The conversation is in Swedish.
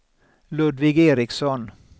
Ludvig Ericsson